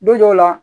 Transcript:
Don dɔw la